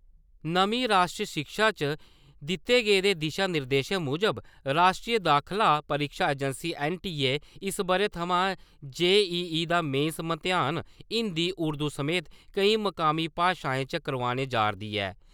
नमीं राश्ट्री शिक्षा च दिते गेदे दिशा-निर्देशें मुजब राश्ट्री दाखला परीक्षा एजैंसी ऐन्न.टी.ए., इस ब'रै थमां जे.ई.ई. दा मेन मतेयान हिन्दी उर्दू समेत केईं मकामी भाशाएं च करोआने जा'रदी ऐ ।